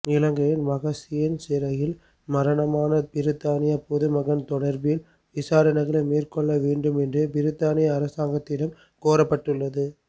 இலங்கையின் மகசீன் சிறையில் மரணமான பிரித்தானிய பொதுமகன் தொடர்பில் விசாரணைகளை மேற்கொள்ள வேண்டும் என்று பிரித்தானிய அரசாங்கத்திடம் கோரப்பட்டுள்ளது